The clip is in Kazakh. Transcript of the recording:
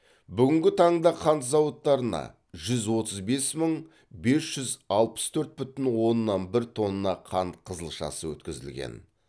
бүгінгі таңда қант зауыттарына жүз отыз бес мың бес жүз алпыс төрт бүтін оннан бір тонна қант қызылшасы өткізілген